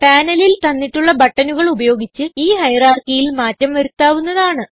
പാനലിൽ തന്നിട്ടുള്ള ബട്ടണുകൾ ഉപയോഗിച്ച് ഈ hierarchyയിൽ മാറ്റം വരുത്താവുന്നതാണ്